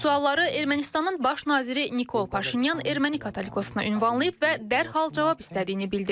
Bu sualları Ermənistanın baş naziri Nikol Paşinyan erməni katolikosuna ünvanlayıb və dərhal cavab istədiyini bildirib.